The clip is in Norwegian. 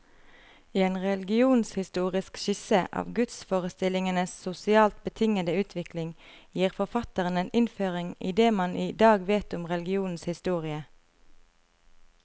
I en religionshistorisk skisse av gudsforestillingenes sosialt betingede utvikling, gir forfatteren en innføring i det man i dag vet om religionens historie.